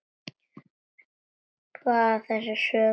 Þessi saga er sönn.